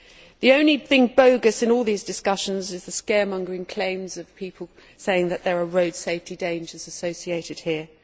The only thing bogus in all these discussions is the scaremongering claims of people saying that there are road safety dangers associated here.